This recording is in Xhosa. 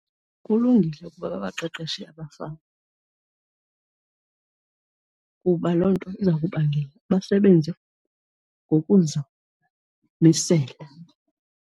Kulungile ukuba babaqeqeshe abafama kuba loo nto iza kubangela basebenze ngokuzimisela.